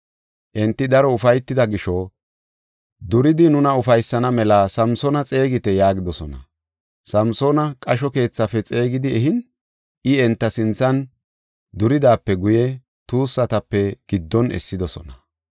Enti daro ufaytida gisho, “Duridi nuna ufaysana mela Samsoona xeegite” yaagidosona. Samsoona qasho keethafe xeegidi ehin, I enta sinthan duridaape guye tuussatape giddon essidosona.